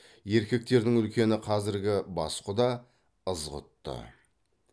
еркектердің үлкені қазіргі бас құда ызғұтты